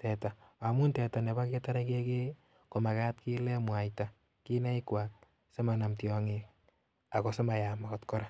teta, amun teta nebo ketore kekei ii, komakat kiile mwaita kinaikwak simanam tiong'ik ako simayam akot kora.